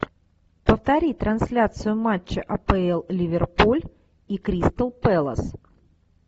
повтори трансляцию матча апл ливерпуль и кристал пэлас